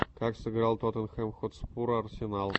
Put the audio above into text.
как сыграл тоттенхэм хотспур арсенал